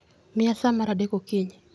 Miya sa mar adek okinyi